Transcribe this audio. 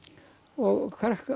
og